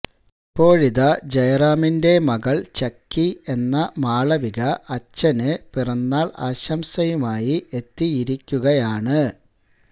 ഇപ്പോഴിതാ ജയറാമിന്റെ മകൾ ചക്കി എന്ന മാളവിക അച്ഛന് പിറന്നാൾ ആശംസയുമായി എത്തിയിരിക്കുകയാണ്